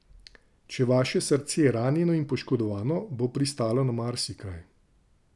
Če je vaše srce ranjeno in poškodovano, bo pristalo na marsikaj.